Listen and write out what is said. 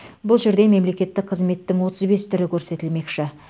бұл жерде мемлекеттік қызметтің отыз бес түрі көрсетілмекші